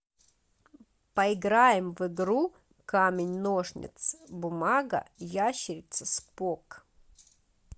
поиграем в игру камень ножницы бумага ящерица спок